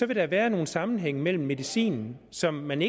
vil der være nogle sammenhænge mellem medicin som man